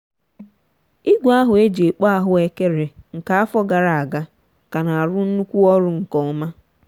igwe ahụ e ji ekpo ahụekere nke afọ gara aga ka na-arụ nnukwu ọrụ nke ọma.